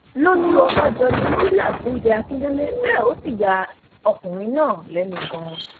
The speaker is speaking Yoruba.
lójú ọbànjọ ni murila ti ń bẹ akíndélé bẹẹ ó sì ya ọkùnrin náà lẹnu ganan